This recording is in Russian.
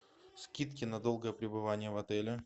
скидки на долгое пребывание в отеле